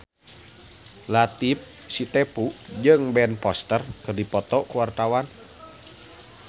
Latief Sitepu jeung Ben Foster keur dipoto ku wartawan